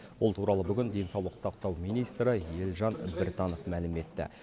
бұл туралы бүгін денсаулық сақтау министрі елжан біртанов мәлім етті